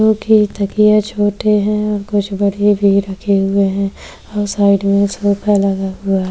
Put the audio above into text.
जो की तकिया छोटे है और कुछ बडे भी रखे हुए है और साइड में सोफा लगा हुआ --